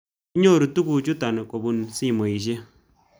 Kinyoru tugu chutok kopun simoshek